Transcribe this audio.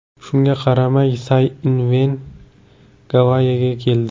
Shunga qaramay, Say Inven Gavayiga keldi.